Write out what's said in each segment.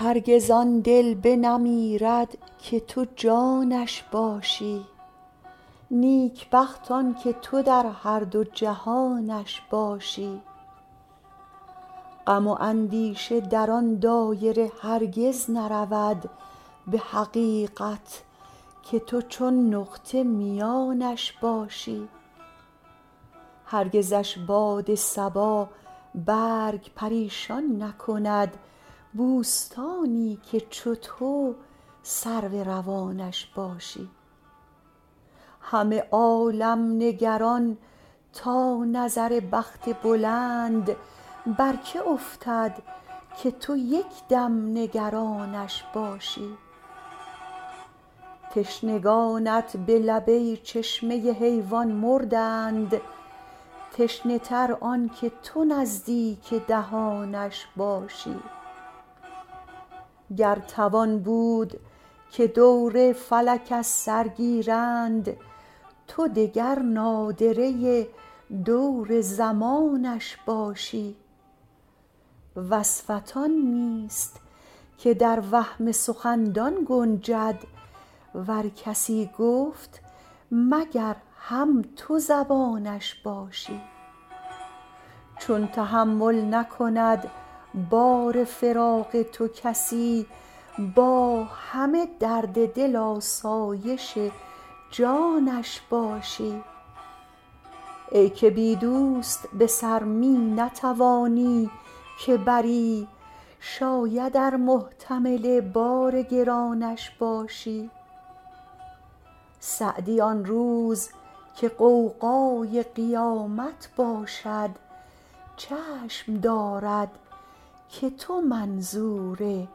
هرگز آن دل بنمیرد که تو جانش باشی نیکبخت آن که تو در هر دو جهانش باشی غم و اندیشه در آن دایره هرگز نرود به حقیقت که تو چون نقطه میانش باشی هرگزش باد صبا برگ پریشان نکند بوستانی که چو تو سرو روانش باشی همه عالم نگران تا نظر بخت بلند بر که افتد که تو یک دم نگرانش باشی تشنگانت به لب ای چشمه حیوان مردند تشنه تر آن که تو نزدیک دهانش باشی گر توان بود که دور فلک از سر گیرند تو دگر نادره دور زمانش باشی وصفت آن نیست که در وهم سخندان گنجد ور کسی گفت مگر هم تو زبانش باشی چون تحمل نکند بار فراق تو کسی با همه درد دل آسایش جانش باشی ای که بی دوست به سر می نتوانی که بری شاید ار محتمل بار گرانش باشی سعدی آن روز که غوغای قیامت باشد چشم دارد که تو منظور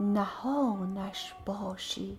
نهانش باشی